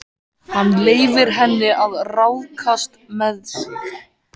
Hann leyfir henni að ráðskast með sig.